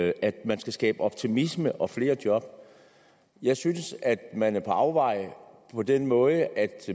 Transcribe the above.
at man skal skabe optimisme og flere job jeg synes at man er på afveje på den måde at